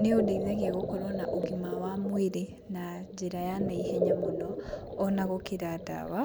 nĩũndeithagia gũkorwo na ũgima wa mwĩrĩ na njĩra ya naihenya mũno ona gũkĩra ndawa.